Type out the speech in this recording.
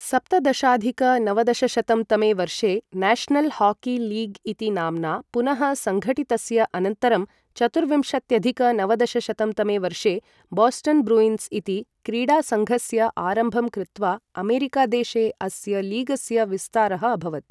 सप्तदशाधिक नवदशशतं तमे वर्षे नेशनल् हॉकी लीग् इति नाम्ना पुनः संगठितस्य अनन्तरं चतुर्विंशत्यधिक नवदशशतं तमे वर्षे बोस्टन् ब्रुइन्स् इति क्रीडासङ्घस्य आरम्भं कृत्वा अमेरिकादेशे अस्य लीगस्य विस्तारः अभवत् ।